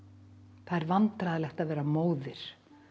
það er vandræðalegt að vera móðir